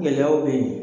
Gɛlɛyaw bɛ yen